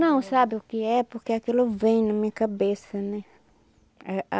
Não sabe o que é porque aquilo vem na minha cabeça, né? Ah ah